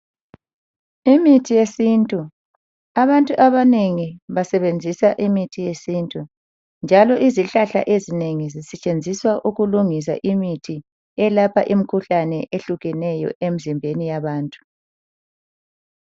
Imithi yesintu, abantu abanengi basebenzisa imithi yesintu njalo izihlahla ezinengi zisetshenziswa ukulungisa imithi eyelapha imkhuhlane eyehlukeneyo emzimbeni yabantu.